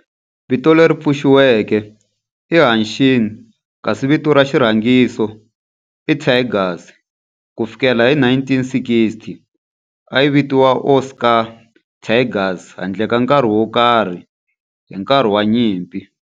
Vito leri pfuxetiweke i Hanshin kasi vito ra xirhangiso i Tigers. Ku fikela hi 1960, a yi vitaniwa Osaka Tigers handle ka nkarhi wo karhi hi nkarhi wa nyimpi.